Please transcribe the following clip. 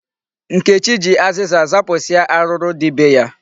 Nkechi ji azịza zapụsịa arụrụ dị be ya.